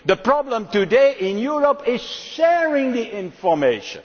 the problem today in Europe is sharing the information.